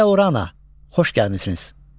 Kia Orana, xoş gəlmisiniz!